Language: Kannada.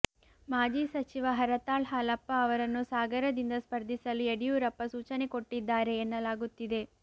ಮಾಜಿ ಸಚಿವ ಹರತಾಳ್ ಹಾಲಪ್ಪ ಅವರನ್ನು ಸಾಗರದಿಂದ ಸ್ಪರ್ಧಿಸಲು ಯಡಿಯೂರಪ್ಪ ಸೂಚನೆ ಕೊಟ್ಟಿದ್ದಾರೆ ಎನ್ನಲಾಗುತ್ತಿದೆ